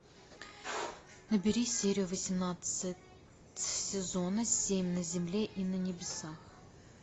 набери серию восемнадцать сезона семь на земле и на небесах